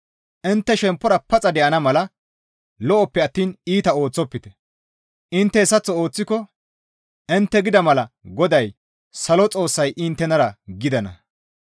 Intte shemppora paxa de7ana mala lo7oppe attiin iita ooththofte; intte hessaththo ooththiko intte gida mala GODAY Salo Xoossay inttenara gidana.